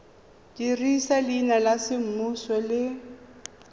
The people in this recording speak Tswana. dirisa leina la semmuso le